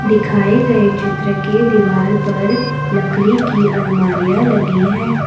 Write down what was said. दिखाए गए चित्र के दीवार पर लकरी की अलमारियां लगी है।